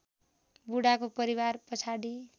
बुढाको परिवार पछाडि